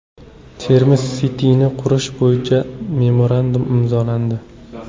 Termiz City’ni qurish bo‘yicha memorandum imzolandi.